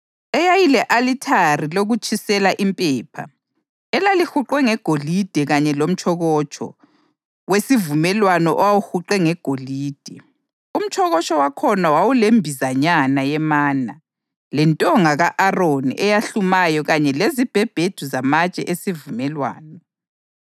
eyayile-alithare lokutshisela impepha elalihuqwe ngegolide kanye lomtshokotsho wesivumelwano owawuhuqwe ngegolide. Umtshokotsho wakhona wawulembizanyana yemana, lentonga ka-Aroni eyahlumayo kanye lezibhebhedu zamatshe esivumelwano.